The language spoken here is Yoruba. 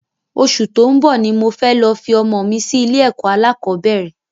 Osù tó ń bò ní mo fẹ́ lọ fi ọmọ mi sí ilé ẹ̀kọ́ alákọ̀bẹ́rẹ̀